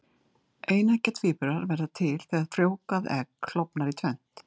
eineggja tvíburar verða til þegar frjóvgað egg klofnar í tvennt